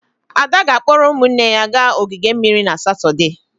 Ada ga-akpọrọ ụmụ ya gaa ogige mmiri na Satọde.